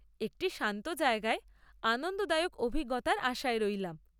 একটি শান্ত জায়গায় আনন্দদায়ক অভিজ্ঞতার আশায় রইলাম।